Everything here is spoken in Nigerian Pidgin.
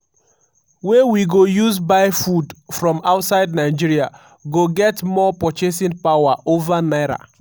wey we go use buy food from outside nigeria go get more purchasing power over naira.